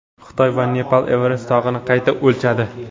Xitoy va Nepal Everest tog‘ini qayta o‘lchadi.